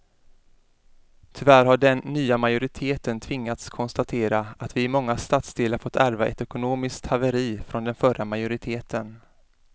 Tyvärr har den nya majoriteten tvingats konstatera att vi i många stadsdelar fått ärva ett ekonomiskt haveri från den förra majoriteten.